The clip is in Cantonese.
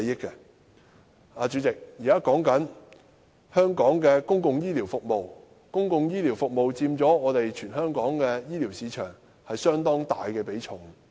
代理主席，現在說的是香港公共醫療服務，在全港醫療市場中，公共醫療服務佔相當大的比重。